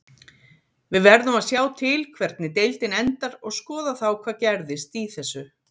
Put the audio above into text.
Við verðum að sjá til hvernig deildin endar og skoða þá hvað gerðist í þessu.